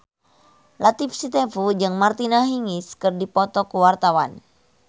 Latief Sitepu jeung Martina Hingis keur dipoto ku wartawan